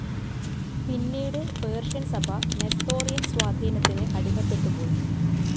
പിന്നീട് പേർഷ്യൻസഭ നെസ്തോറിയൻ സ്വാധീനത്തിനു അടിമപ്പെട്ടുപോയി.